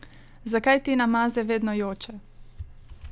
Zakaj Tina Maze vedno joče?